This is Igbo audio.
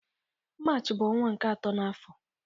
Maachị bu onwa nke ato na afo